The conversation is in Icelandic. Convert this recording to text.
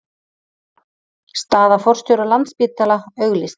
Staða forstjóra Landspítala auglýst